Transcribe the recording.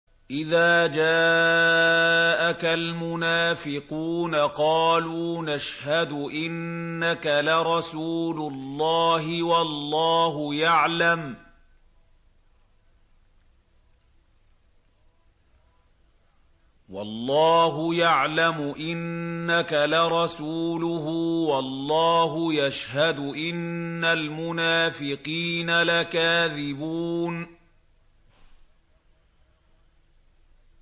إِذَا جَاءَكَ الْمُنَافِقُونَ قَالُوا نَشْهَدُ إِنَّكَ لَرَسُولُ اللَّهِ ۗ وَاللَّهُ يَعْلَمُ إِنَّكَ لَرَسُولُهُ وَاللَّهُ يَشْهَدُ إِنَّ الْمُنَافِقِينَ لَكَاذِبُونَ